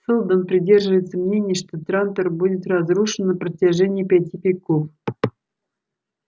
сэлдон придерживается мнения что трантор будет разрушен на протяжении пяти веков